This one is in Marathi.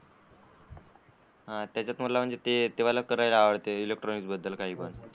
हा त्याच्यात मला म्हणजे ते वाल करायचंय इलेक्ट्रॉनिक्स बद्दल काही.